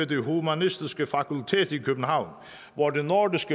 det humanistiske fakultet i københavn hvor nordisk